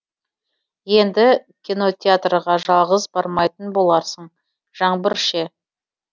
енді кинотеатрға жалғыз бармайтын боларсың жаңбыр ше